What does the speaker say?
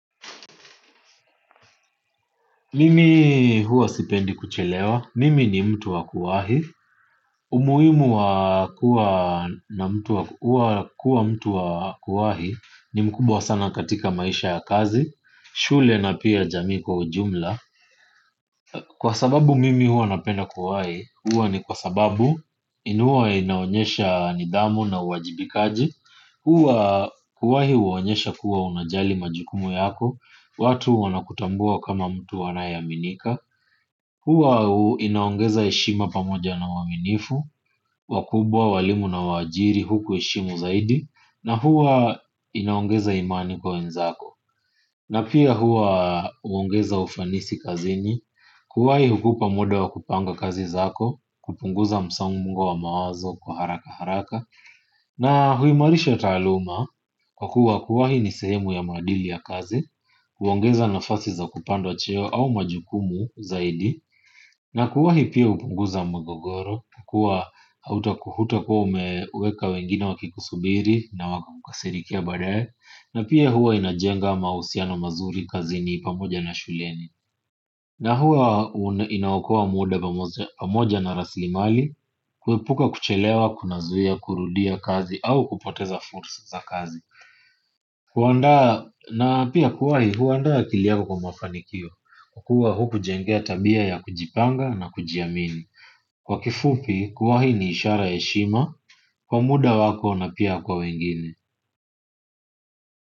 Mimi huwa sipendi kuchelewa. Mimi ni mtu wa kuwahi. Umuhimu wa kuwa mtu wa kuwahi ni mkubwa sana katika maisha ya kazi, shule na pia jamii kwa ujumla. Kwa sababu mimi huwa napenda kuwahi, huwa ni kwa sababu huwa inaonyesha nidhamu na uwajibikaji. Huwa kuwahi huonyesha kuwa unajali majukumu yako, watu wanakutambua kama mtu anayeaminika. Huwa inaongeza heshima pamoja na uaminifu, wakubwa, walimu na waajiri hukuheshimu zaidiz na huwa inaongeza imani kwa wenzako. Na pia huwa huongeza ufanisi kazini, kuwahi hukupa muda wa kupanga kazi zako, kupunguza msongo wa mawazo kwa haraka haraka. Na huimarisha taaluma kwa kuwa kuwahi ni sehemu ya maadili ya kazi, huongeza nafasi za kupandwa cheo au majukumu zaidi. Na kuwahi pia hupunguza mgogoro, huwa hauta hutakuwa umeweka wengine wakikusubiri na wakakukasirikia baadae. Na pia huwa inajenga mahusiano mazuri kazini pamoja na shuleni. Na huwa inaokoa muda pamoja na rasilimali. Kuepuka kuchelewa, kunazuia, kurudia kazi au kupoteza fursa za kazi. Kuandaa na pia kuwahi huandaa akili yangu kwa mafanikio kwa kuwa hukujengea tabia ya kujipanga na kujiamini. Kwa kifupi kuwahi ni ishara ya heshima, kwa muda wako na pia kwa wengine.